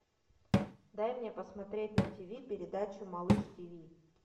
дай мне посмотреть на тв передачу малыш тв